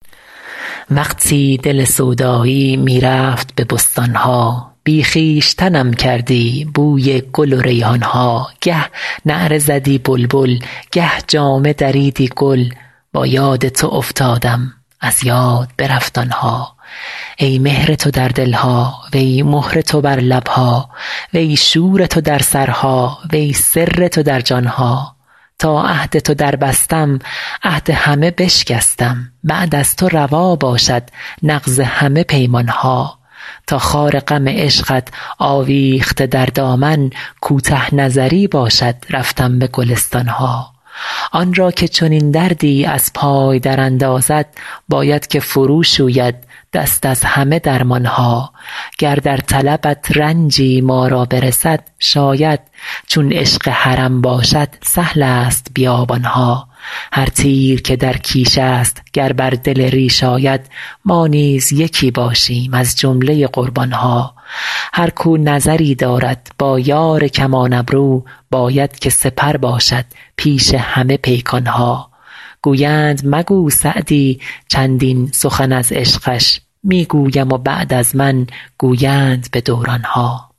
وقتی دل سودایی می رفت به بستان ها بی خویشتنم کردی بوی گل و ریحان ها گه نعره زدی بلبل گه جامه دریدی گل با یاد تو افتادم از یاد برفت آن ها ای مهر تو در دل ها وی مهر تو بر لب ها وی شور تو در سرها وی سر تو در جان ها تا عهد تو دربستم عهد همه بشکستم بعد از تو روا باشد نقض همه پیمان ها تا خار غم عشقت آویخته در دامن کوته نظری باشد رفتن به گلستان ها آن را که چنین دردی از پای دراندازد باید که فروشوید دست از همه درمان ها گر در طلبت رنجی ما را برسد شاید چون عشق حرم باشد سهل است بیابان ها هر تیر که در کیش است گر بر دل ریش آید ما نیز یکی باشیم از جمله قربان ها هر کاو نظری دارد با یار کمان ابرو باید که سپر باشد پیش همه پیکان ها گویند مگو سعدی چندین سخن از عشقش می گویم و بعد از من گویند به دوران ها